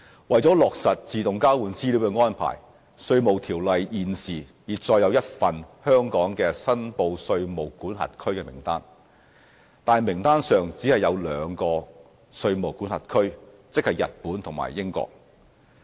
為落實自動交換資料的安排，《稅務條例》現時已載有一份香港的"申報稅務管轄區"名單，但名單上只有兩個稅務管轄區，即日本和英國。